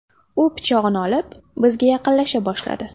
U pichog‘ini olib, bizga yaqinlasha boshladi.